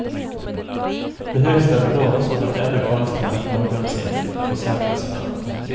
Det högsta belopp som ett enda konstverk någonsin försäkrats för.